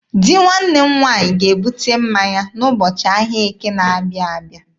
Di nwanne m nwaanyị ga-ebute mmanya n'ụbọchị ahịa Eke na-abịa abịa.